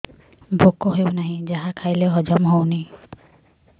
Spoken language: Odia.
ଭୋକ ହେଉନାହିଁ ଯାହା ଖାଇଲେ ହଜମ ହଉନି